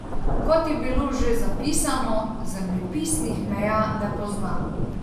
Kot je bilo že zapisano, zemljepisnih meja ne pozna.